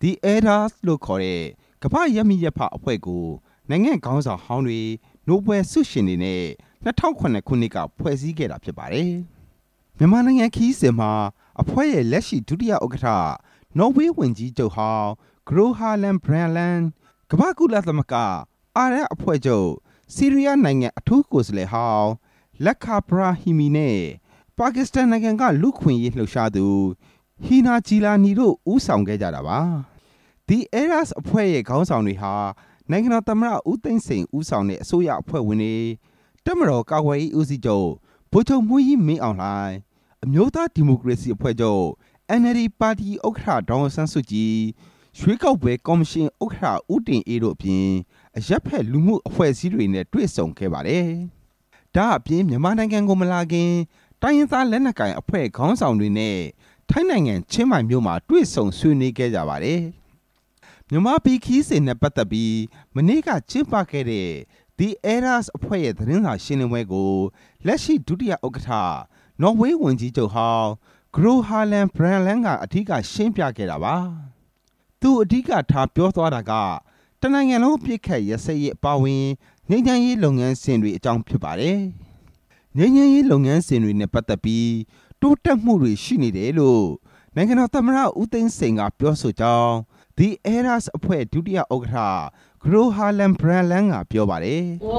The Elders လို့ခေါ်တဲ့ ကမ္ဘာ့ရပ်မိရပ်ဖ အဖွဲ့ကို နိုင်ငံခေါင်းဆောင်ဟောင်းတွေ၊ နိုဘယ်လ်ဆုရှင်တွေနဲ့ ၂၀၀၇ ခုနှစ်က ဖွဲ့စည်းခဲ့တာဖြစ်ပါတယ်။ မြန်မာနိုင်ငံခရီးစဉ်မှာ အဖွဲ့ရဲ့လက်ရှိ ဒုတိယ ဥက္ကဋ္ဌ နော်ဝေး၀န်ကြီးချုပ်ဟောင်း ဂရိုဟာလမ် ဘရန့်တ်လန်း၊ ကမ္ဘာ့ကုလသမဂ္ဂ-အာရပ်အဖွဲ့ချုပ် ဆီးရီးယားနိုင်ငံ အထူးကိုယ်စားလှယ်ဟောင်း လက်ခ်ဒါဘရာဟီမီနဲ့ ပါကစ္စတန်နိုင်ငံက လူ့အခွင့်အရေး ကာကွယ်သူ ဟီနာဂျီလာနီ တို့ကဦးဆောင်ခဲ့ကြတာပါ။ The Elders အဖွဲ့ရဲ့ခေါင်းဆောင်တွေဟာ နိုင်ငံတော်သမ္မတဦးသိန်းစိန်ဦးဆောင်တဲ့ အစိုးရအဖွဲ့ဝင်တွေ၊ တပ်မတော်ကာကွယ်ရေးဦးစီးချုပ် ဗိုလ်ချုပ်မှူးကြီး မင်းအောင်လှိုင်၊ အမျိုးသားဒီမိုကရေစီအဖွဲ့ချုပ် NLD ပါတီ ဥက္ကဋ္ဌ ဒေါ်အောင်ဆန်းစုကြည်၊ ရွေးကောက်ပွဲကော်မရှင် ဥက္ကဋ္ဌ ဦးတင်အေး တို့အပြင် အရပ်ဖက်လူမှု့ အဖွဲ့အစည်းတွေနဲ့တွေ့ဆုံခဲ့ပါတယ်။ ဒါ့အပြင် မြန်မာနိုင်ငံကိုမလာခင် တိုင်းရင်းသားလက် နက်ကိုင်အဖွဲ့ခေါင်းဆောင်တွေနဲ့လည်း ထိုင်းနိုင်ငံ ချင်းမိုင်မြို့မှာ တွေ့ဆုံဆွေးနွေးခဲ့ကြတာဖြစ်ပါတယ်။ မြန်မာပြည်ခရီးစဉ်နဲ့ပတ်သက်ပြီး မနေ့က ကျင်းပခဲ့တဲ့ The Elders အဖွဲ့ရဲ့ သတင်းစာရှင်းလင်းပွဲကို လက်ရှိ ဒုတိယ ဥက္ကဋ္ဌ နော်ဝေး၀န်ကြီး ချုပ်ဟောင်း ဂရိုဟာလမ် ဘရန့်တ်လန်းက အဓိက ရှင်းပြခဲ့တာပါ။ သူအဓိကထားပြောသွားတာက တစ်နိုင်ငံလုံးအပစ်အခတ်ရပ်စဲရေးအပါအဝင် ငြိမ်းချမ်းရေးလုပ်ငန်းစဉ်တွေ အကြောင်းဖြစ်ပါတယ်။ ငြိမ်းချမ်းရေးလုပ်ငန်းစဉ်တွေနဲ့ပတ်သက်ပြီးတိုးတက်မှုတွေရှိနေတယ်လို့ နိုင်ငံတော်သမ္မတဦးသိန်းစိန် ကပြောဆိုကြောင်း The Elders အဖွဲ့ ဒုတိယ ဥက္ကဋ္ဌ ဂရိုဟာလမ် ဘရန့်တ်လန်း ကပြောပါတယ်။ “ကျွ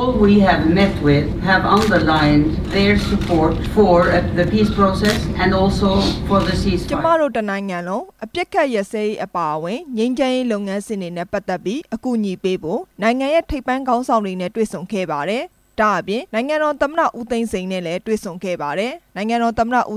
န်မတို့ တနိုင်ငံလုံးအပစ်အခတ်ရပ်စဲရေးအပါအဝင် ငြိမ်းချမ်းရေးလုပ်ငန်းစဉ် တွေနဲ့ပတ်သက်ပြီး အကူအညီ ပေးဖို့ နိုင်ငံရဲ့ထိပ်ပိုင်းခေါင်းဆောင်တွေ နဲ့ တွေ့ဆုံ ခဲ့ပါတယ်။ ဒါ့အပြင် နိုင်ငံတော်သမ္မတ ဦးသိန်းစိန်နဲ့ လည်းတွေ့ဆုံခဲ့ပါတယ်။ သမ္မတဦး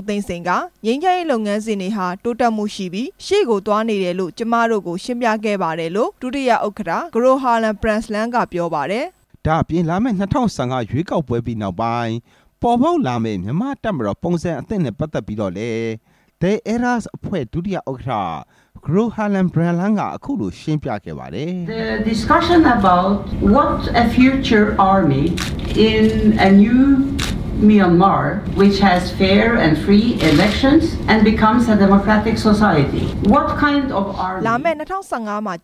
သိန်းစိန်က ငြိမ်းချမ်းရေးလုပ်ငန်းစဉ် တွေဟာ တိုးတက် မှုရှိပြီးရှေ့ကိုသွားနေ တယ်လို့ ကျွန်မတို့ကိုရှင်းပြခဲ့ပါတယ်လို့ ဒုတိယ ဥက္ကဋ္ဌ ဂရိုဟာလမ် ဘရန့်တ်လန်း ကပြောပါတယ်။” ဒါ့အပြင်လာမယ့် ၂၀၁၅ ရွေးကောက်ပွဲပြီးနောက်ပိုင်း ပေါ်ပေါက်လာမယ့် မြန်မာတပ်မတော် ပုံစံအသစ် နဲ့ပတ်သက်ပြီးတော့လည်း The Elders အဖွဲ့ ဒုတိယ ဥက္ကဋ္ဌ ဂရိုဟာလမ် ဘရန့်တ်လန်း က ရှင်းပြခဲ့ပါတယ်။ “လာမယ့် ၂၀၁၅မှာ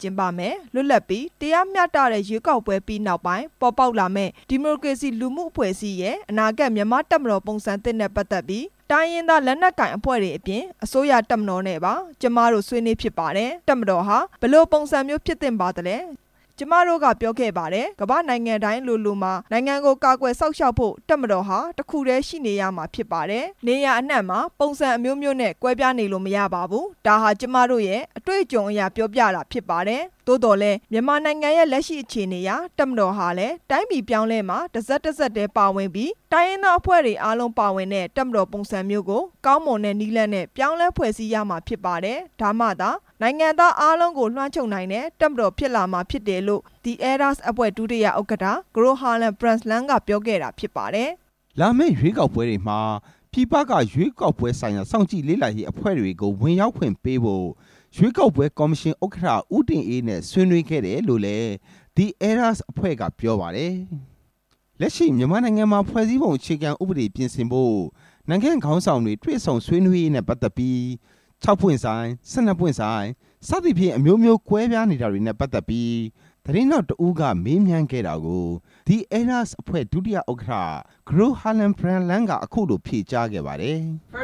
ကျင်းပမယ့် လွှတ်လပ်ပြီး၊ တရားမျှတတဲ့ ရွေးကောက် ပွဲပြီးနောက်ပိုင်းပေါ်ပေါက်လာမယ့် ဒီမိုကရေစီလူမှု့အဖွဲ့အစည်းရဲ့ အနာဂတ် မြန်မာ့တပ်မတော်ပုံစံသစ်နဲ့ပတ်သက်ပြီး တိုင်းရင်းသား လက်နက်ကိုင်အဖွဲ့တွေအပြင် အစိုးရတပ်မတော်နဲ့ပါ ကျွန်မတို့ဆွေးနွေးဖြစ်ပါတယ်။ တပ်မတော်ဟာ ဘယ်လိုပုံစံမျိုး ဖြစ်သင့်ပါသလဲ။ ကျွန်မတို့ကပြောခဲ့ပါတယ် ကမ္ဘာ့နိုင်ငံတိုင်းလိုလိုမှာ နိုင်ငံကိုကာကွယ် စောင့်ရှောက်ဖို့ တပ်မတော်ဟာ တစ်ခုတည်းရှိနေရမှာဖြစ်ပါတယ်။ နေရာအနှံမှာ ပုံစံအမျိုးမျိုးနဲ့ကွဲပြားနေလို့မရပါဘူး။ ဒါ့ဟာကျွန်မတို့ရဲ့ တွေ့အကြုံ အရ ပြောပြ တာဖြစ်ပါတယ်။ သို့သော်လည်း မြန်မာနိုင်ငံရဲ့လက်ရှိအခြေအနေအရ တပ်မတော်ဟာ လည်း တိုင်းပြည်အပြောင်းအလဲမှာ တဆက်တစပ်တည်း ပါဝင်ပြီး တိုင်းရင်းသား အဖွဲ့တွေအားလုံးပါဝင်တဲ့ တပ်မတော်ပုံစံမျိုးကို ကောင်းမွန်တဲ့နည်းလမ်းနဲ့ ပြောင်းလဲဖွဲ့စည်းရမှာဖြစ်ပါတယ်။ ဒါမှာသာ နိုင်ငံသား အားလုံးကို လွမ်းခြုံနိုင်တဲ့ တပ်မတော်ဖြစ်လာမှာဖြစ်တယ်လို့ The Elders အဖွဲ့ ဒုတိယ ဥက္ကဋ္ဌ ဂရိုဟာလမ် ဘရန့်တ်လန်း ကပြောခဲ့တာဖြစ်ပါတယ်။” လာမယ့်ရွေးကောက်ပွဲတွေမှာ ပြည်ပက ရွေးကောက်ပွဲဆိုင်ရာ စောင့်ကြည့် လေ့လာရေးအဖွဲ့တွေကို ဝင်ရောက်ခွင့် ပေးဖို့ ရွေးကောက်ပွဲကော်မရှင်ဥက္ကဋ္ဌ ဦးတင်အေးနဲ့ဆွေးနွေးခဲ့တယ်လို့လည်း The Elders အဖွဲ့က ပြောပါတယ်။ လက်ရှိမြန်မာနိုင်ငံမှာ ဖွဲ့စည်းပုံအခြေခံဥပဒေပြင်ဆင်ဖို့ နိုင်ငံခေါင်းဆောင်တွေ တွေ့ဆုံဆွေးနွေးရေးနဲ့ ပတ်သက်ပြီး ၆ ပွင့်ဆိုင်၊ ၁၂ ပွင့်ဆိုင်၊ စသည်ဖြင့် အမျိုးမျိုးကွဲပြားနေတာတွေနဲ့ ပတ်သက်ပြီး သတင်းထောက် တစ်ဦးမေးမြန်းခဲ့တာကို The Elders အဖွဲ့ ဒုတိယ ဥက္ကဋ္ဌ ဂရိုဟာလမ် ဘရန့်တ်လန်း ကအခုလို ဖြေကြားခဲ့ပါတယ်။ "ကျွန်မရှင်းရှ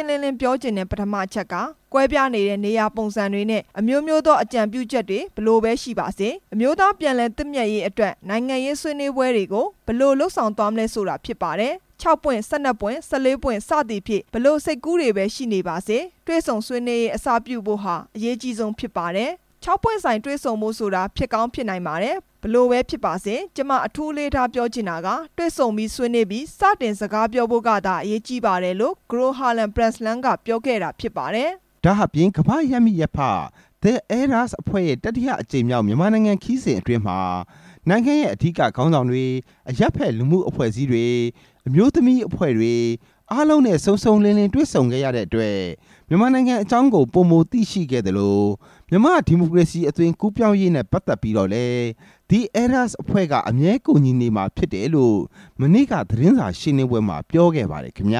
င်းလင်းလင်းပြောချင်တဲ့ပထမအချက်က ကွဲပြားနေတဲ့ နေရာပုံစံတွေနဲ့ အမျိုးမျိုးသော အကြံပြုချက်တွေဘယ်လိုပဲရှိပါစေ အမျိုးသားပြန်လည်သင့်မြတ်ရေး အတွက် နိုင်ငံရေးဆွေးနွေးပွဲတွေ ကိုဘယ်လိုလုပ်ဆောင်သွားမလဲဆိုတာဖြစ်ပါတယ်။ ၆ ပွင့်၊ ၁၂ ပွင့်၊ ၁၄ ပွင့် စသည်ဖြင့်ဘယ်လို စိတ်ကူးတွေပဲရှိနေပါစေ တွေ့ဆုံဆွေးနွေးရေး အစပြုဖို့ဟာ အရေးကြီးဆုံးဖြစ်ပါတယ်။ ၆ ပွင့်ဆိုင်တွေ့ဆုံဖို့ဆိုတာ ဖြစ်ကောင်းဖြစ်နိုင် ပါတယ် ဘယ်လိုပဲဖြစ်ပါစေ ကျွန်မအထူးအလေးထားပြောချင်တာက တွေ့ဆုံပြီး ဆွေးနွေးပြီး စတင်စကားပြောဖို့ကသာ အရေးကြီးပါတယ်လို့ ဂရိုဟာလမ် ဘရန့်တ်လန်း ကပြောခဲ့တာဖြစ်ပါတယ်။” ဒါ့အပြင် ကမ္ဘာ့ရပ်မိရပ်ဖ The Elders အဖွဲ့ရဲ့ တတိယအကြိမ်မြောက် မြန်မာနိုင်ငံခရီးစဉ်အတွင်းမှာ နိုင်ငံရဲ့အဓိကခေါင်းဆောင်တွေ၊ အရပ်ဖက်လူမှု့အဖွဲ့ အစည်းတွေ၊ အမျိုးသမီးအဖွဲ့တွေ အားလုံးနဲ့စုံစုံလင်လင် တွေ့ဆုံခဲ့ရတဲ့အတွက် မြန်မာနိုင်ငံအကြောင်းကို ပိုမိုသိရှိခဲ့သလို မြန်မာ့ ဒီမိုကရေစီအသွင် ကူးပြောင်းရေးနဲ့ ပတ်သက်ပြီးတော့လည်း The Elders အဖွဲ့က အမြဲကူညီနေမှာဖြစ်တယ်လို့ မနေ့က သတင်းစာရှင်းလင်း ပွဲမှာ ပြောခဲ့ပါတယ်ခင်ဗျ